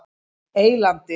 Eylandi